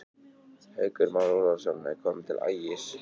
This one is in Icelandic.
Haukur Már Ólafsson er kominn til Ægis.